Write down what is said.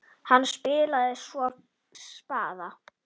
Hann spilaði svo spaða.